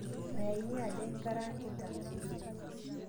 Mayaini aja ingarangita